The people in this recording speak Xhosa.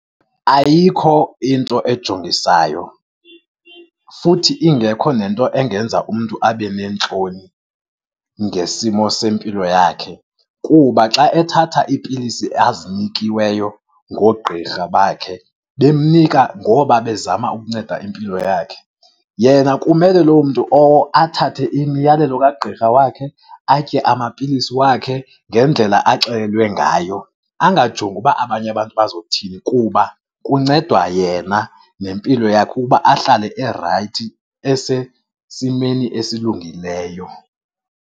Ayikho into ejongisayo futhi ingekho nento engenza umntu abe neentloni ngesimo sempilo yakhe kuba xa ethatha iipilisi azinikiweyo ngoogqirha bakhe, bemnika ngoba bezama ukunceda impilo yakhe. Yena kumele loo mntu owo athathe imiyalelo kagqirha wakhe, atye amapilisi wakhe ngendlela axelelwe ngayo. Angajongi ukuba abanye abantu bazothini kuba kuncedwa yena nempilo yakhe ukuba ahlale erayithi, esesimeni esilungileyo.